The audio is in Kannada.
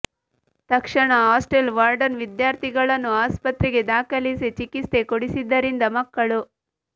ತಕ್ಷಣ ಹಾಸ್ಟೆಲ್ ವಾರ್ಡನ್ ವಿದ್ಯಾರ್ಥಿಗಳನ್ನು ಆಸ್ಪತ್ರೆಗೆ ದಾಖಲಿಸಿ ಚಿಕಿತ್ಸೆ ಕೊಡಿಸಿದ್ದರಿಂದ ಮಕ್ಕಳು